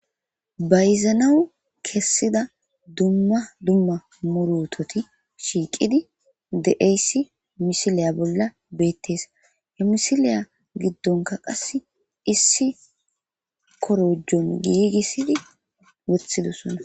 Bayzanawu kessida dumma dumma murutoti shiiqidi deeyssi misiliya bolla beettees hemisiliya giddonka qas issi korojon giigissidi wothidossonna.